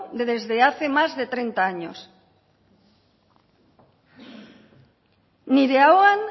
desde hace más de treinta años nire ahoan